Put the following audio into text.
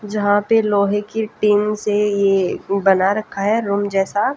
जहां पे लोहे की टीन से ये बना रखा है रूम जैसा।